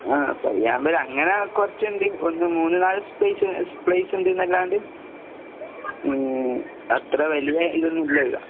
ആഹ് പയ്യാമ്പലം. അങ്ങനെ കൊറച്ചിണ്ട് ഒന്ന് മൂന്ന് നാല് സ്‌പേസ് പ്ലേസിണ്ട്ന്നല്ലാണ്ട് ഉം അത്ര വലിയ ഇതൊന്നും ഇല്ല ഇവിടെ.